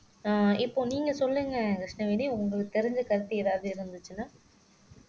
அஹ் இப்போ நீங்க சொல்லுங்க கிருஷ்ணவேணி உங்களுக்கு தெரிஞ்ச கருத்து ஏதாவது இருந்துச்சுன்னா